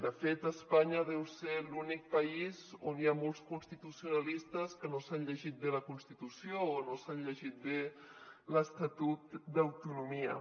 de fet espanya deu ser l’únic país on hi ha molts constitucionalistes que no s’han llegit bé la constitució o no s’han llegit bé l’estatut d’autonomia